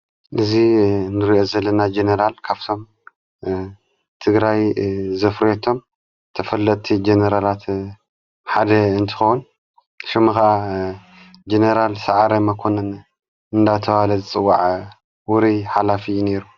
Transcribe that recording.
እዚ ንሪኦ ዘለና ጀነራል ካብቶም ትግራይ ዘፍርየቶም ተፈለቲ ጀነራላት ሓደ እንትኾን ሽሙ ኻዓ ጀነራል ሰዓረ መኮነን እንዳተብለ ዝጽዋዕ ዉሪ ሓላፊ ነይሩ።